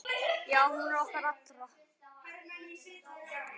Já, hún er okkar allra.